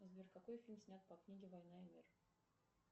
сбер какой фильм снят по книге война и мир